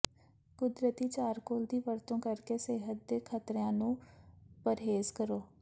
ਕੁਦਰਤੀ ਚਾਰਕੋਲ ਦੀ ਵਰਤੋ ਕਰਕੇ ਸਿਹਤ ਦੇ ਖ਼ਤਰਿਆਂ ਤੋਂ ਪਰਹੇਜ਼ ਕਰੋ